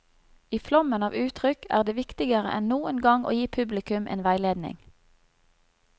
I flommen av uttrykk er det viktigere enn noen gang å gi publikum en veiledning.